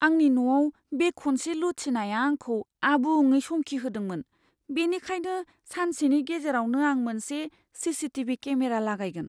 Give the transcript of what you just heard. आंनि न'आव बे खनसे लुथिनाया आंखौ आबुङै समखिहोदोंमोन, बेनिखायनो सानसेनि गेजेरावनो आं मोनसे सीसीटीवी केमेरा लागायगोन।